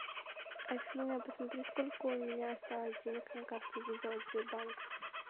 афина посмотри сколько у меня осталось денег на карте виза от сбербанка